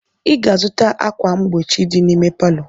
Ị ga-azụta ákwà mgbochi dị n'ime palọ!